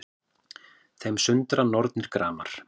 Þeim sundra nornir gramar